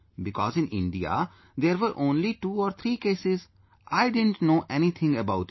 Because in India, there were only two or three cases, I didn't know anything about it